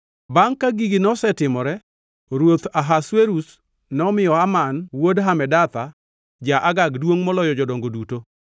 Bangʼ ka gigi nosetimore, ruoth Ahasuerus nomiyo Haman wuod Hamedatha, ja-Agag duongʼ moloyo jodongo duto.